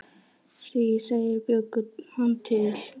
Því þeir bjuggu hann til.